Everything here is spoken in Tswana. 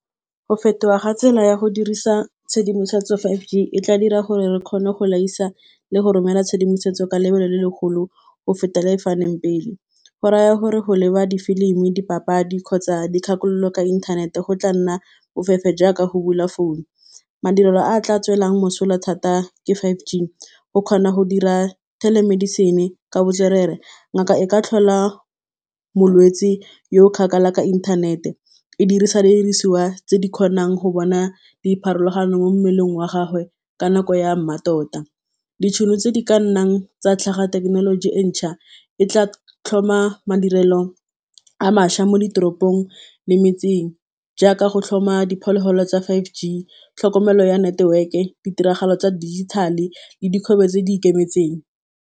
Go fetoga ga tsela ya go dirisa tshedimosetso five g e tla dira gore re kgone go laisa le go romela tshedimosetso ka lebelo le le golo go feta le le faneng pele, go raya gore go leba difilimi dipapadi kgotsa dikgakololo ka inthanete go tla nna bofefe jaaka go bula founu, madirelo a tla tswelelang mosola thata ke five gig o kgona go dira telemedicine ka botswerere, ngaka e ka tlhola molwetsi yo kgakala ka inthanete e dirisa didiriswa tse di kgonang go bona dipharologano mo mmeleng wa gagwe ka nako ya mmatota, ditšhono tse di ka nnang tsa tlhaga thekenoloji entšha e tlaa tlhoma madirelo a mašwa mo ditoropong le metseng jaaka go tlhoma diphologolo tsa five g tlhokomelo ya network-e ditiragalo tsa dijithale le dikgobe tse di ikemetseng.